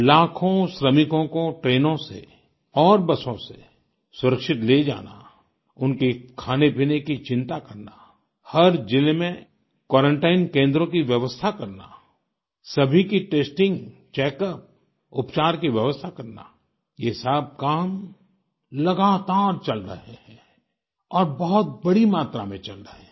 लाखों श्रमिकों को ट्रेनों से और बसों से सुरक्षित ले जाना उनके खानेपाने की चिंता करना हर जिले में क्वारंटाइन केन्द्रों की व्यवस्था करना सभी की टेस्टिंग चेकअप उपचार की व्यवस्था करना ये सब काम लगातार चल रहे हैं और बहुत बड़ी मात्रा में चल रहे हैं